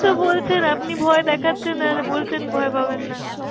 তো বলছেন, আপনি ভয় দেখাচ্ছেন আর বলছেন ভয় পাবেন না।